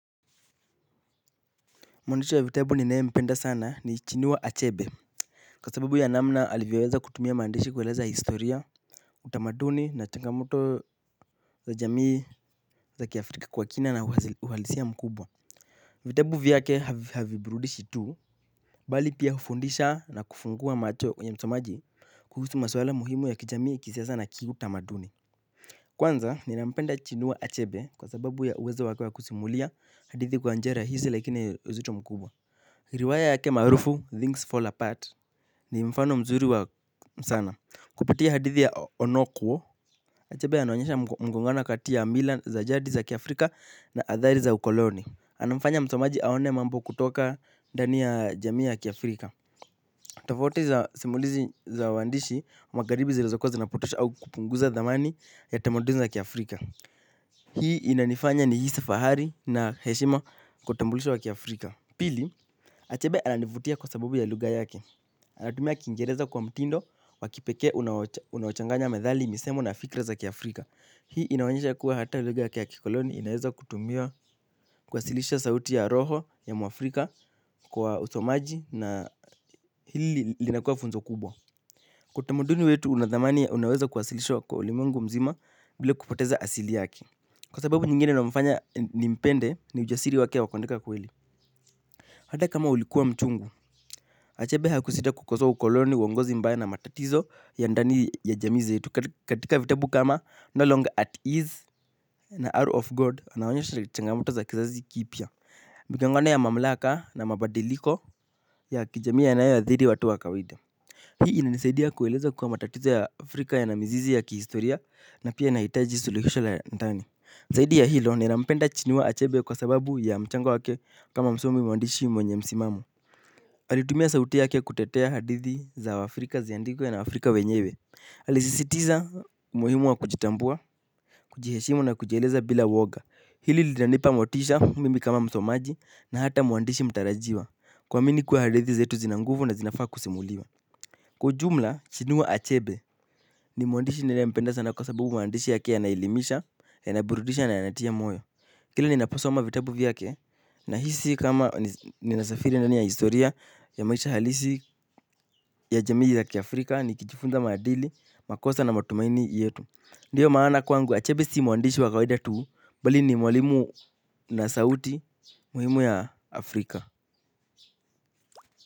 Mwandishi wa vitabu ninayempenda sana ni chinua achebe. Kwa sababu ya namna alivyoweza kutumia maandishi kueleza historia utamaduni na changamoto za jamii za kiafrika kwa kina na uhalisia mkubwa. Vitabu vyake haviburudishi tu bali pia hufundisha na kufungua macho ya msomaji kuhusu masuwala muhimu ya kijamii kisiasa na kiutamaduni. Kwanza nina mpenda chinua achebe kwa sababu ya uwezo wake wa kusimulia hadithi kwa njia rahisi lakini uzito mkubwa. Riwaya yake maarufu Things Fall Apart ni mfano mzuri sana. Kupitia hadithi ya Onokuo, achabe anaonyesha mgongana kati ya mila za jadi za kiafrika na athari za ukoloni. Anamfanya msomaji aone mambo kutoka dani ya jamii ya kiafrika. Tofauti za simulizi za waandishi wa magharibi zilizokuwa zinapotosha au kupunguza thamani ya tamaduni za kiafrika. Hii inanifanya nihisi fahari na heshima kwa utambulisho wa kiafrika. Pili, achebe ananivutia kwa sababu ya lugha yake. Anatumia kiingereza kwa mtindo wa kipekee unaochanganya methali misemu na fikra za kiAfrika. Hii inaonyesha ya kuwa hata lugha yake ya kikoloni inaweza kutumiwa kuwasilisha sauti ya roho ya muafrika kwa usomaji na hili linakuwa funzo kubwa. Kwa utamuduni wetu una dhamani unaweza kuwasilishwa kwa ulimwengu mzima bila kupoteza asili yake. Kwa sababu nyingine inayomfanya nimpende ni ujasiri wake wa kuandika kweli. Hata kama ulikuwa mchungu Achebe hakusita kukosoa ukoloni uongozi mbaya na matatizo ya ndani ya jamii zetu katika vitabu kama no longer at ease. Na hour of god anaonyesha changamoto za kizazi kipya migongano ya mamlaka na mabadiliko ya kijamii yanayoathiri watu wa kawaida. Hii inanisaidi ya kueleza kuwa matatizo ya afrika yana mzizi ya kihistoria na pia inahitaji suluhisho la ndani zaidi ya hilo ninampenda chinua Achebe kwa sababu ya mchango wake kama msomi mwandishi mwenye msimamo alitumia sauti yake kutetea hadithi za waafrika ziandikwe na waafrika wenyewe alisisitiza umuhimu wa kujitambua, kujiheshimu na kujieleza bila uwoga. Hili linanipa motisha mimi kama msomaji na hata mwandishi mtarajiwa. Kuamini kuwa hadithi zetu zina nguvu na zinafaa kusimuliwa kwa ujumla chinua achebe ni mwandishi ninaempenda sana kwa sababu maandishi yake yanaelimisha, yanaburudisha na yanatia moyo. Kila ninaposoma vitabu vyake nahisi kama ninasafiri ndani ya historia ya maisha halisi ya jamii ya kiafrika ni kijifunza maadili, makosa na matumaini yetu. Ndio maana kwangu achabe si mwandishi wa kawaida tu bali ni mwalimu na sauti muhimu ya Afrika.